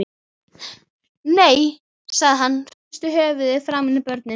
Nei, sagði hann og hristi höfuðið framan í börnin.